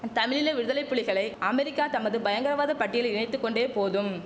தமிழீழ விடுதலைப்புலிகளை அமெரிக்கா தமது பயங்கரவாதப் பட்டியல் இணைத்து கொண்டே போதும்